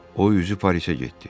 o üzü Parisə getdi.